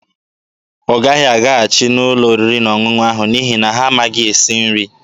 Ọ gaghị alaghachi n'ụlọ oriri na ọṅụṅụ ahụ n'ihi na ha amaghị esi nri.